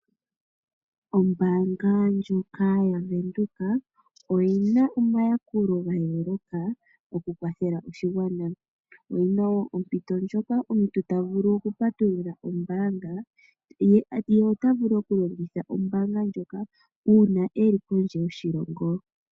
Ombaanga ndyoka yaWindhoek oyina omayakulo gayooloka okukwathela oshigwana, oyina ompito ndjoka omuntu tavulu okupatulula ombaanga ye tavulu okulongitha ombaanga ndyoka una eli kondje yoshilongo.